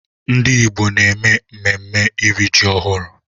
Ndị Igbo na-eme mmemme iri ji ọhụrụ.